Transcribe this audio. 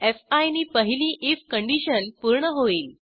fee नी पहिली IF condition पूर्ण होईल